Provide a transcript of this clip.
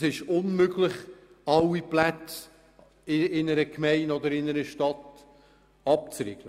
Es ist unmöglich, alle Plätze in einer Gemeinde oder in einer Stadt abzuriegeln.